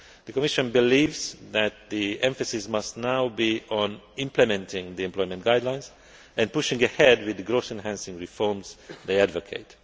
crisis. The Commission believes that the emphasis must now be on implementing the employment guidelines and pushing ahead with the growth enhancing reforms they advocate.